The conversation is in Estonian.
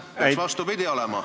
Peaks vastupidi olema.